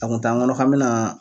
A kun t'an ŋɔnɔ k'an bɛ naa